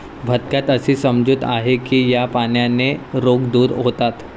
भक्तात अशी समजूत आहे की या पाण्याने रोग दूर होतात.